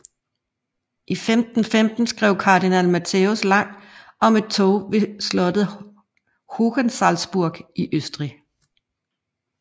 I 1515 skrev Cardinal Matthäus Lang om et tog ved slottet Hohensalzburg i Østrig